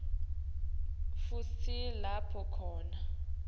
futsi lapho khona